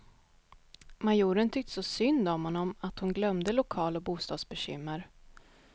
Majoren tyckte så synd om honom att hon glömde lokal och bostadsbekymmer.